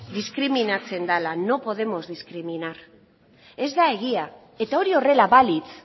diskriminatzen dala no podemos discriminar ez da egia eta hori horrela balitz